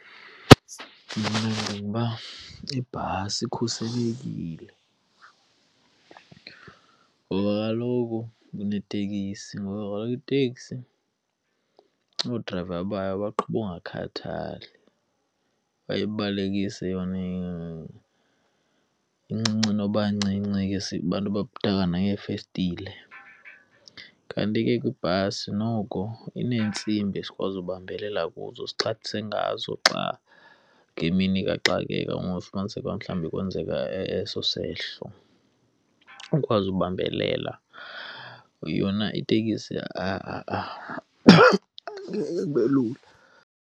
Mna ndicinga uba ibhasi ikhuselekile ngoba kaloku kunetekisi, ngoba kaloku iteksi oodrayiva bayo baqhuba ukungakhathali, bayibalekise yona incinci noba ncinci ke abantu nangeefestile. Kanti ke kwibhasi noko ineentsimbi esikwazi ukubambelela kuzo, esixhathise ngazo xa ngemini kaxakeka, ufumaniseke uba mhlawumbi kwenzeka eso sehlo ukwazi ukubambelela. Yona itekisi kube lula.